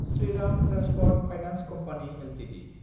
Shriram transport finance company Ltd